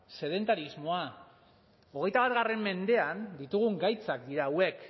sedentarismoa hogeita bat mendean ditugun gaitzak dira hauek